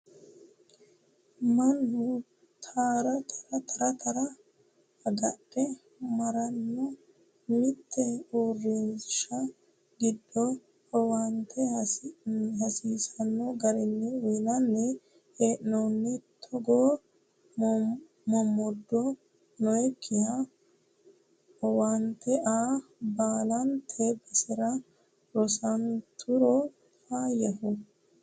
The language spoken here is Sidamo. Mannu tara tara agadhe marranna mite uurrinsha giddo owaante hasiisano garini uyinanni hee'noni, togo momodo noyikkiha owaante aa baallante basera rosanturo faayyaho.